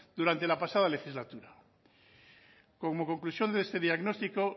durante la pasada legislatura como conclusión de este diagnóstico